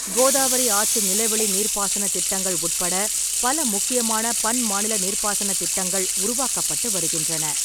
கோதாவரி ஆற்று நிலவெளி நீர்ப்பாசனத் திட்டங்கள் உட்பட பல முக்கியமான பன்மாநில நீர்ப்பாசனத் திட்டங்கள் உருவாக்கப்பட்டு வருகின்றன.